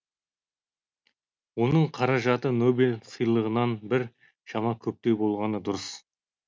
оның қаражаты нобель сыйлығынан бір шама көптеу болғаны дұрыс